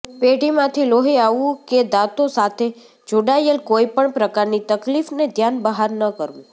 પેઢામાંથી લોહી આવવું કે દાંતો સાથે જોડાયેલ કોઈપણ પ્રકારની તકલીફને ધ્યાન બહાર ન કરવું